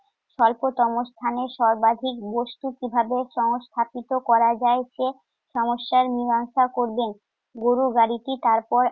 স্বল্পতম স্থানে সর্বাধিক বস্তু কিভাবে সংস্থাপিত করা যায় সেই সমস্যার মিমাংসা করবেন। গরুর গাড়িটি তারপর